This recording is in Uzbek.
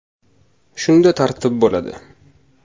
Shunda tartib bo‘ladi!